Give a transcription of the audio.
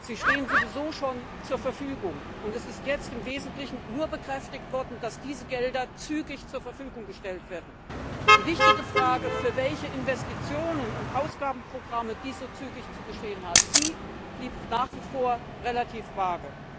Sie stehen sowieso schon zur Verfügung, und es ist jetzt im Wesentlichen nur bekräftigt worden, dass diese Gelder zügig zur Verfügung gestellt werden. Die Antwort auf die wichtige Frage, für welche Investitionen und Ausgabenprogramme dies zügig zu geschehen hat, blieb nach wie vor relativ vage.